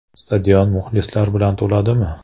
Stadion muxlislar bilan to‘ladimi?